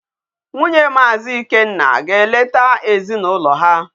Nwunye Maazi Ikenna ga-eleta ezinụlọ ha.